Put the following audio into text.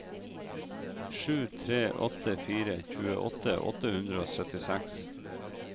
sju tre åtte fire tjueåtte åtte hundre og syttiseks